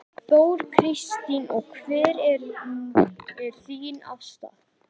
Þóra Kristín: En hver er þín afstaða?